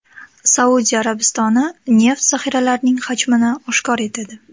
Saudiya Arabistoni neft zaxiralarining hajmini oshkor etadi.